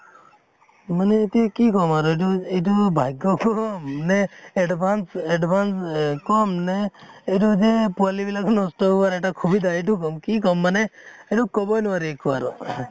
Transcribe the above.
মানে এতিয়া কি কম আৰু এইটো এইটো ভাগ্য়ক্ৰম নে advance advance এ কম নে এইটো যে পোৱালী বিলাকৰ নষ্ট হোৱাৰ এটা সুবিধা এইটো কি কম মানে, এইটো কʼবই নোৱাৰি একো আৰু